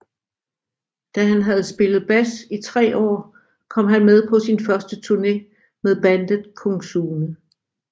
Da han havde spillet bas i tre år kom han med på sin første turné med bandet Kung Sune